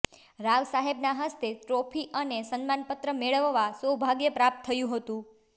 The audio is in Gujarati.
રાવ સાહેબના હસ્તે ટ્રોફી અને સન્માનપત્ર મેળવવા સૌભાગ્ય પ્રાપ્ત થયુ હતુ